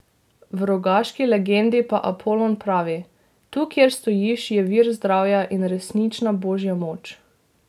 V rogaški legendi pa Apolon pravi: 'Tu, kjer stojiš, je vir zdravja in resnična božja moč.